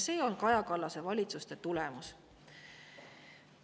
See on Kaja Kallase valitsuste tulemus.